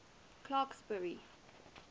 clarksburry